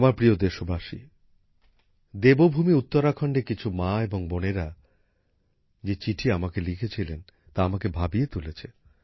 আমার প্রিয় দেশবাসী দেবভূমি উত্তরাখণ্ডের কিছু মা এবং বোনেরা যে চিঠি আমাকে লিখেছিলেন তা আমাকে ভাবিয়ে তুলেছে